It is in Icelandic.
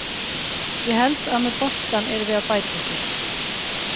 Ég held að með boltann erum við að bæta okkur.